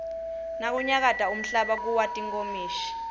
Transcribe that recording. nakunyakata umhlaba kuwa tinkomishi